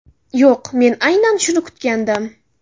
Yo‘q, men aynan shuni kutgandim.